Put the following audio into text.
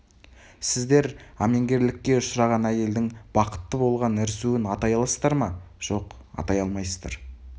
сіздер әменгерлікке ұшыраған әйелдің бақытты болған ірсуін атай аласыздар ма жоқ атай алмайсыз